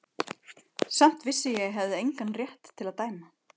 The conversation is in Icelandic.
Samt vissi ég að ég hafi engan rétt til að dæma.